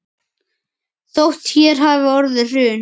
Þótt hér hafi orðið hrun.